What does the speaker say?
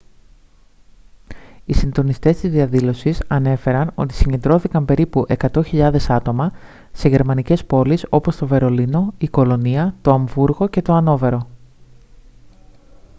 οι συντονιστές της διαδήλωσης ανέφεραν ότι συγκεντρώθηκαν περίπου 100.000 άτομα σε γερμανικές πόλεις όπως το βερολίνο η κολωνία το αμβούργο και το αννόβερο